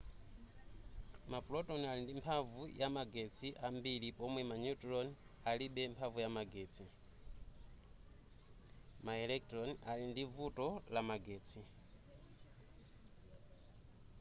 maproton ali ndi mphamvu ya magetsi ambiri pomwe ma neutron alibe mphamvu ya magetsi ma electron ali ndi vuto la magetsi